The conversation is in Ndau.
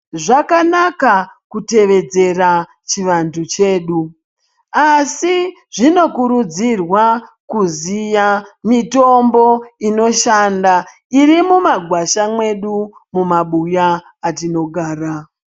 Zvakanaka kuyevedzera chivanthu chedu asi zvinokurudzirwa kuziya mitombo inoshanda iri mumagwasha mwedu mumabuya atinogara.